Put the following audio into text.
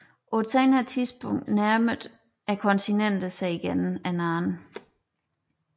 På et senere tidspunkt nærmede kontinenterne sig igen hinanden